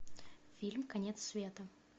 фильм конец света